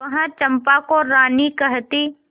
वह चंपा को रानी कहती